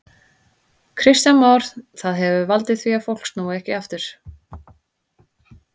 Kristján Már: Það hefur valdið því að fólk snúi ekki aftur?